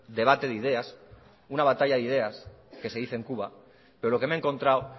debate de ideas una batalla de ideas que se dice en cuba pero lo que me he encontrado